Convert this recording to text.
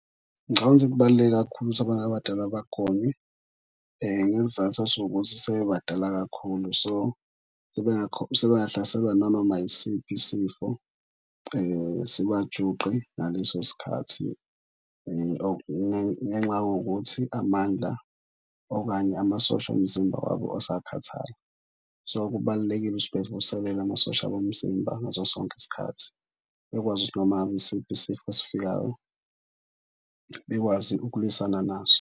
Ngicabanga ukuthi kubaluleke kakhulu ukuthi abantu abadala bagonywe ngesizathu sokuthi sebebadala kakhulu. So, sebengahlaselwa inanoma yisiphi isifo sibajuqe ngaleso sikhathi ngenxa yokuthi amandla okanye amasosha omzimba wabo asakhathala. So, kubalulekile ukuthi bevuselele amasosha omzimba ngaso sonke isikhathi bekwazi ukuthi noma ngabe isiphi isifo esifikayo bekwazi ukulwisana naso.